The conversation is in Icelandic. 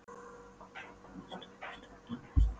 Obba, hvaða stoppistöð er næst mér?